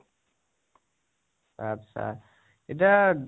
আত্চ্চা, এতিয়া